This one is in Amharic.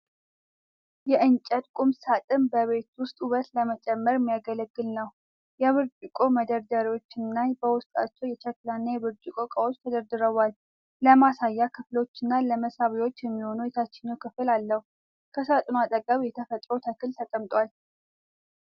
የእንጨት ቁም ሳጥን በቤት ውስጥ ውበት ለመጨመር የሚያገለግል ነው። የብርጭቆ መደርደሪያዎች እና በውስጣቸው የሸክላ እና የብርጭቆ እቃዎች ተደርድረዋል። ለማሳያ ክፍሎችና ለመሳቢያዎች የሚሆን የታችኛው ክፍል አለው። ከሳጥኑ አጠገብ የተፈጥሮ ተክል ተቀምጧል።